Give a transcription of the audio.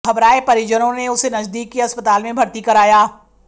घबराए परिजनों ने उसे नजदीक के अस्पताल में भर्ती कराया